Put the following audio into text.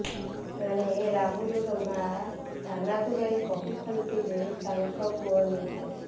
ଏଣେ ରାହୁଲର ମାଆ ଥାନାକୁ ଯାଇ କହୁଛନ୍ତି ଯେ ତାଙ୍କ ପୁଅ ନିର୍ଦ୍ଦୋଷ